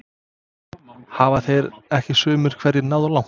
Hafa þeir ekki sumir hverjir náð langt?